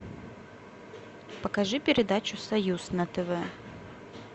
покажи передачу союз на тв